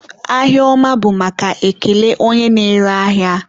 ahịa ọma bụ ekele maka onye na-ere ahịa.